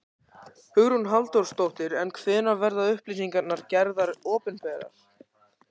Hugrún Halldórsdóttir: En hvenær verða upplýsingarnar gerðar opinberar?